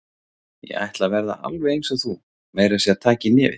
Ég ætla að verða alveg eins og þú, meira að segja taka í nefið.